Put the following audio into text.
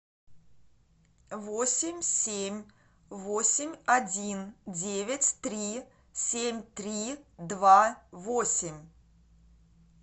восемь семь восемь один девять три семь три два восемь